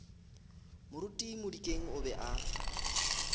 moruti modikeng o be a